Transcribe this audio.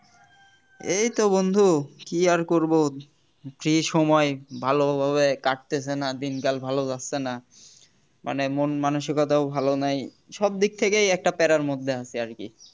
এইতো বন্ধু কি আর করব free সময় ভালোভাবে কাটতাছে না দিন কাল ভালো যাচ্ছে না মানে মন মানসিকতাও ভালো নাই সবদিক থেকেই একটা প্যারার মধ্যে আছি আরকি